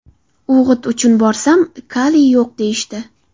O‘g‘it uchun borsam, kaliy yo‘q, deyishdi.